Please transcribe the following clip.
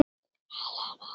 Hulda Elvý.